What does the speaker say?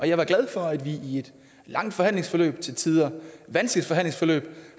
jeg er glad for at vi i et langt forhandlingsforløb og til tider et vanskeligt forhandlingsforløb